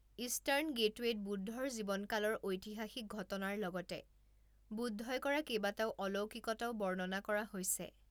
Eastern গেটৱে'ত বুদ্ধৰ জীৱনকালৰ ঐতিহাসিক ঘটনাৰ লগতে বুদ্ধই কৰা কেইবাটাও অলৌকিকতাও বৰ্ণনা কৰা হৈছে।